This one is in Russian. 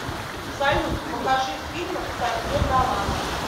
салют покажи фильмы ксавье далана